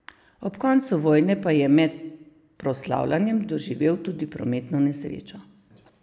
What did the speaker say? Ob koncu vojne pa je med proslavljanjem doživel tudi prometno nesrečo.